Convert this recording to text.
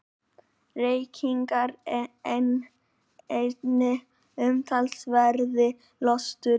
Reykingar eini umtalsverði lösturinn.